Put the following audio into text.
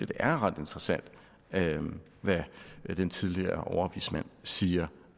det er ret interessant hvad den tidligere overvismand siger